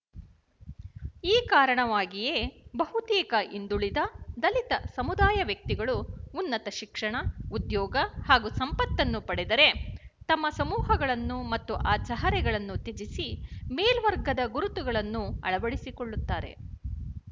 ಈ ಕಾರಣವಾಗಿಯೇ ಬಹುತೇಕ ಹಿಂದುಳಿದ ದಲಿತ ಸಮುದಾಯವ್ಯಕ್ತಿಗಳು ಉನ್ನತ ಶಿಕ್ಷಣ ಉದ್ಯೋಗ ಹಾಗೂ ಸಂಪತ್ತನ್ನು ಪಡೆದರೆ ತಮ್ಮ ಸಮೂಹಗಳನ್ನು ಮತ್ತು ಆ ಚಹರೆಗಳನ್ನು ತ್ಯಜಿಸಿ ಮೇಲ್ವರ್ಗದ ಗುರುತುಗಳನ್ನು ಅಳವಡಿಸಿಕೊಳ್ಳುತ್ತಾರೆ